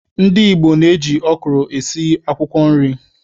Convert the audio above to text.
Ndị Igbo na-eji ọkwụrụ esi ji akwụkwọ nri.